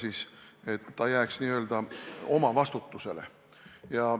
Need hooned jääks n-ö omavastutusele.